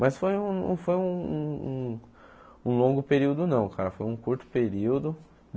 Mas foi um foi um um um longo período não, cara, foi um curto período.